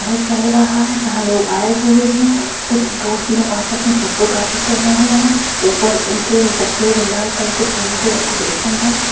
चल रहा है जहाँ लोग आए हुए हैं| कुछ दोस्त लोग आपस में फोटोग्राफी कर रहे हैं| ऊपर उनके और सफेद और लाल कलर के फूलों से डेकरैशन है।